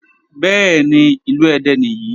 Bẹ́ẹ̀ni, ìlú Ẹdẹ nìyí.